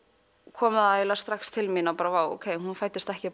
kom strax til mín bara vá hún fæddist ekki